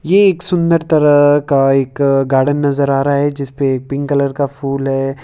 ये एक सुंदर तरह का एक गार्डन नजर आ रहा है जिस पे पिंक कलर का फूल है।